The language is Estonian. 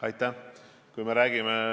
Aitäh!